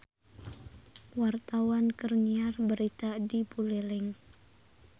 Wartawan keur nyiar berita di Buleleng